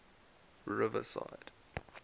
riverside